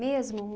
Mesmo?